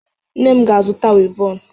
Nne m ga-azụta wivọnụ.